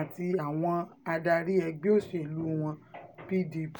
àti àwọn adarí ẹgbẹ́ òṣèlú wọn pdp